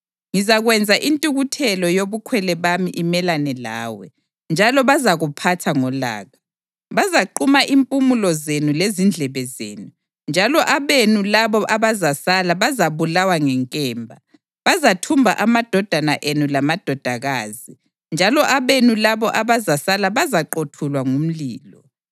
Ngizakwenza intukuthelo yobukhwele bami imelane lawe, njalo bazakuphatha ngolaka. Bazaquma impumulo zenu lezindlebe zenu, njalo abenu labo abazasala bazabulawa ngenkemba. Bazathumba amadodana enu lamadodakazi, njalo abenu labo abazasala bazaqothulwa ngumlilo.